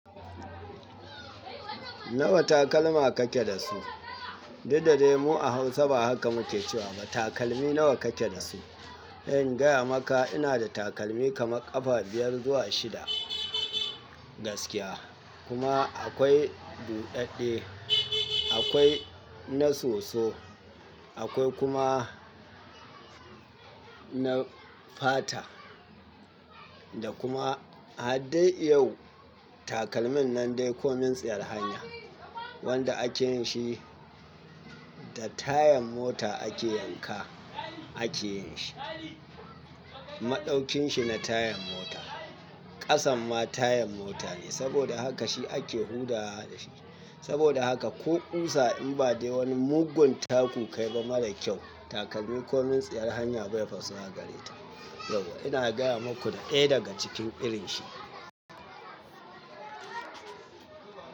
Nawa takalma kake da su? Diddaye mu a Hausa ba haka muke cewa ba. Takalmi nawa kake da su? In gaya maka ina da takalmi kamar ƙafa biyar zuwa shida. Gaskiya. Kuma akwai buɗaɗɗe, akwai na soso, akwai kuma na fata. Da kuma har dai yau takalmin nan dai komin tsayar hanya wanda akeyin shi da tayan mota ake yanka akeyin shi. Maɗaukin shi na tayan mota. Kasan ma tayan mota ne. Saboda haka shi ake hurɗa da shi. Saboda haka ko kusa in ba dai wani mugun taku kaiba marakyau takalmin komin tsayar hanya bai faso a gare ta. Yau ina gaya maku ɗaya daga cikin irin shi.